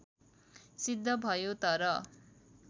सिद्ध भयो तर